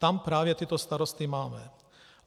Tam právě tyto starosty máme.